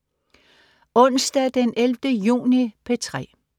Onsdag den 11. juni - P3: